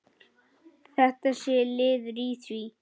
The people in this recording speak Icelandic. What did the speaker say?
Þetta sé liður í því.